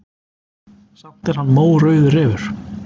Samt er hann mórauður refur.